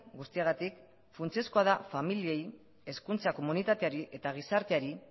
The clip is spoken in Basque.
guztiagatik funtsezkoa da familiei hezkuntza komunitateari eta gizarteari